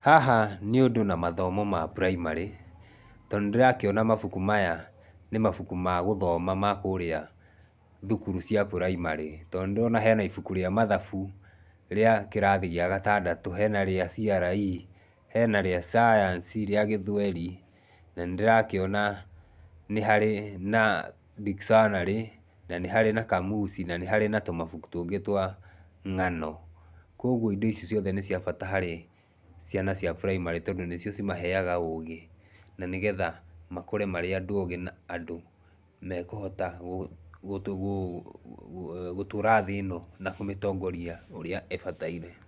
Haha nĩ ũndũ na mathomo ma braimarĩ tondũ nĩ ndĩrakĩona mabuku maya nĩ mabuku ma gũthoma ma kũrĩa thukuru cia braimarĩ . Tondũ nĩ ndĩrona hena ibuku rĩa mathabu rĩa kĩrathi gĩa gatandatũ, hena rĩa CRE, hena rĩa Science, rĩa gĩthweri, na nĩ ndĩrakĩona nĩ harĩ na dictionary, na nĩ harĩ na kamusi, na nĩ harĩ na tũmabuku tũngĩ twa ng'ano. Koguo indo ici ciothe nĩ cia bata harĩ ciana cia braimarĩ tondũ nĩ cio cimaheaga ũgĩ na nĩgetha makũre marĩ andũ ũgĩ na andũ mekũhota gũtũra thĩ ĩno na kũmĩtongoria ũrĩa ĩbataire.